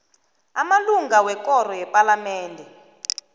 amalunga wekoro yepalamende